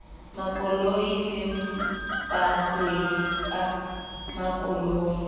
makoloi le bahwebi ba makoloi